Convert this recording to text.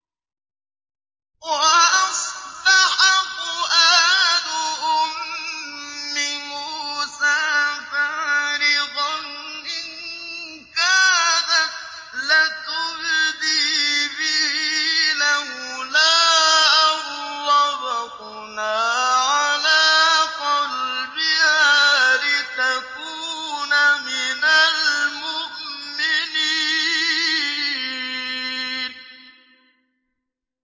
وَأَصْبَحَ فُؤَادُ أُمِّ مُوسَىٰ فَارِغًا ۖ إِن كَادَتْ لَتُبْدِي بِهِ لَوْلَا أَن رَّبَطْنَا عَلَىٰ قَلْبِهَا لِتَكُونَ مِنَ الْمُؤْمِنِينَ